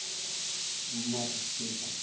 ya ka e duma ditshepe